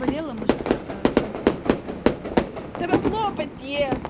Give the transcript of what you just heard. болела может кто-то вылечит тэбэ хлопать е